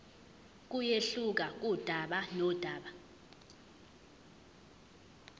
kuyehluka kudaba nodaba